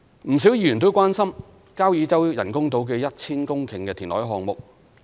不少議員關心交椅洲人工島的 1,000 公頃填海項目。